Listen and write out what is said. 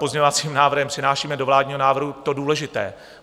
Pozměňovacím návrhem přinášíme do vládního návrhu to důležité.